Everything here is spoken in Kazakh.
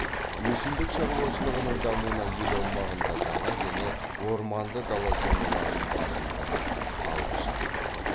өсімдік шаруашылығының дамуына ел аумағында дала және орманды дала зоналарының басымдығы алғышарт болады